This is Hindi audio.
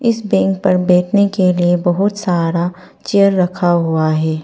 इस बैंक पर बैठने के लिए बहुत सारा चेयर रखा हुआ है।